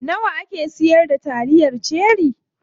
Nawa ake siyar da taliyar cherie?